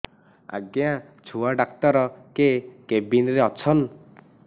ଆଜ୍ଞା ଛୁଆ ଡାକ୍ତର କେ କେବିନ୍ ରେ ଅଛନ୍